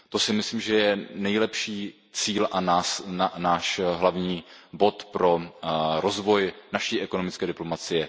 To si myslím, že je nejlepší cíl a náš hlavní bod pro rozvoj naší ekonomické diplomacie.